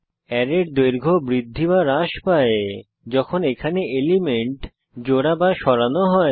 অ্যারের দৈর্ঘ্য বৃদ্ধিহ্রাস পায় যখন এখানে এলিমেন্ট জোড়াসরানো হয়